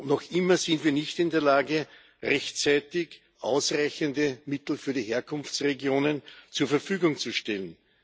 Und noch immer sind wir nicht in der Lage, rechtzeitig ausreichende Mittel für die Herkunftsregionen zur Verfügung zu stellen.